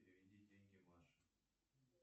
переведи деньги маше